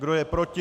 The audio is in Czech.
Kdo je proti?